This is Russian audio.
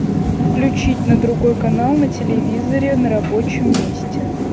включить на другой канал на телевизоре на рабочем месте